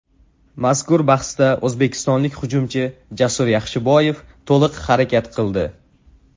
Mazkur bahsda o‘zbekistonlik hujumchi Jasur Yaxshiboyev to‘liq harakat qildi.